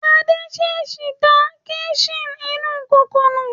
Adé ṣèṣì da kíḿṣì inú kòkò nù.